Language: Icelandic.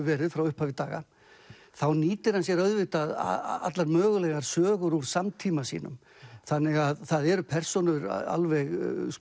verið frá upphafi daga þá nýtir hann sér auðvitað allar mögulegar sögur úr samtíma sínum þannig að það eru persónur alveg